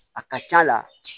A ka c'a la